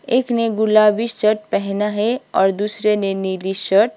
एक ने गुलाबी शर्ट पहना है और दूसरे ने निली शर्ट --